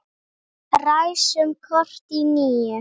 Ræsum kort í níu.